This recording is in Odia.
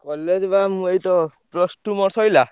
College ବା ମୁଁ ଏଇତ plus two ମୋର ସଇଲା।